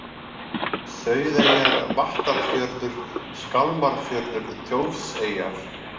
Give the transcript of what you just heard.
Sauðeyjar, Vattarfjörður, Skálmarfjörður, Þjófseyjar